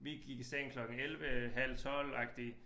Vi gik i seng klokken 11 halv 12 agtig